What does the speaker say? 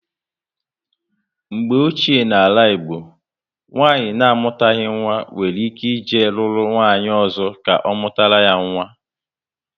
Mgbe ochie na ala Igbo, nwanyị na amutaghi nwa nwere ike e jee lụrụ nwanyị ọzọ ka ọ mụtara ya nwa